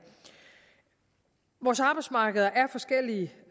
vores arbejdsmarkeder er forskellige